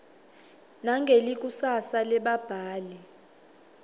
nangelikusasa lebabhali